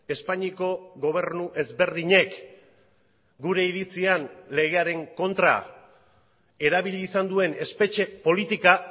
espainiako gobernu ezberdinek gure iritzian legearen kontra erabili izan duen espetxe politika